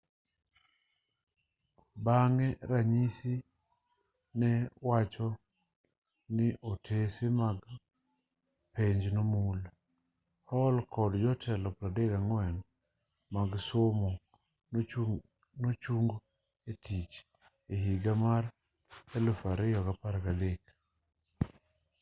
bang'e ranyisi newacho ni otese mag penj nomul hall kod jotelo 34 mag somo nochung etich ehiga mar 2013